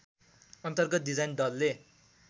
अन्तर्गत डिजाइन दलले